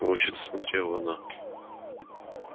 волчица смотрела на